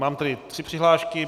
Mám tady tři přihlášky.